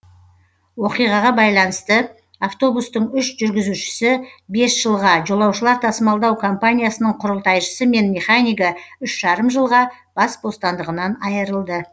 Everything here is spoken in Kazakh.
оқиғаға байланысты автобустың үш жүргізушісі бес жылға жолаушылар тасымалдау компаниясының құрылтайшысы мен механигі үш жарым жылға бас бостандығынан айырылды